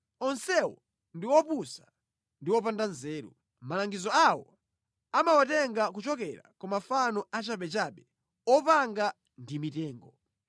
Onsewo ndi opusa ndi opanda nzeru; malangizo awo amawatenga kuchokera kwa mafano achabechabe opanga ndi mitengo.